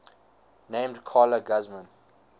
named carla guzman